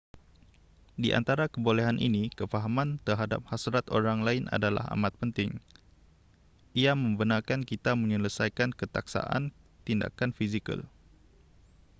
di antara kebolehan ini kefahaman terhadap hasrat orang lain adalah amat penting ia membenarkan kita menyelesaikan ketaksaan tindakan fizikal